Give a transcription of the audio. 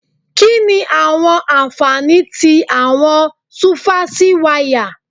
Kí ni àwọn ànfàní tí àwọn súfásí wáyà?